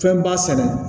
Fɛnba sɛnɛ